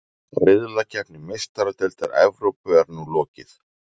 Riðlakeppni Meistaradeildar Evrópu er nú lokið.